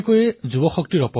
এই কুঅভ্যাসৰ চিকাৰ হৈ পৰে